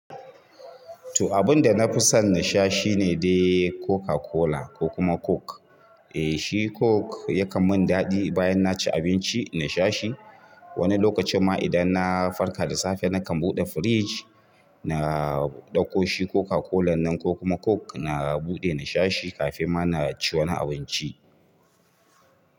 To abun da na fi son nasha shine dai Coca-Cola ko kuma Coke. Eh shi coke yakan min daɗi bayan naci abinci nasha shi. Wani lokacin ma idan na farka da safe nakan buɗe firij, na ɗauko shi Coca-Cola nan ko kuma Coke na buɗe na sha shi kafin ma na ci wani abinci.